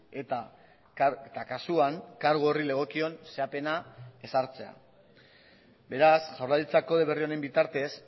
eta kasuan kargu horri legokion zehapena ezartzea beraz jaurlaritza kode berri honen bitartez